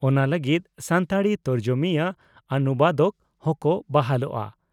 ᱚᱱᱟ ᱞᱟᱹᱜᱤᱫ ᱥᱟᱱᱛᱟᱲᱤ ᱛᱚᱨᱡᱚᱢᱤᱭᱟᱹ (ᱚᱱᱩᱵᱟᱫᱚᱠ) ᱦᱚᱸᱠᱚ ᱵᱟᱦᱟᱞᱚᱜᱼᱟ ᱾